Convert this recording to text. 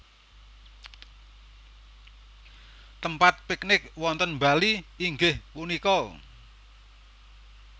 Tempat piknik wonten Bali inggih punika